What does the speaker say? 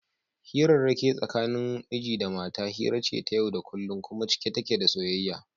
Hirarrake tsakanin miji da mata hira ce ta yau da kullum kuma cike take da soyayya.